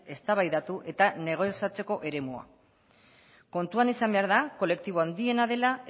eztabaidatu eta negoziatzeko eremua kontuan izan behar da kolektibo handiena dela